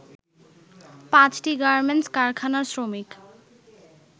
পাঁচটি গার্মেন্টস কারখানার শ্রমিক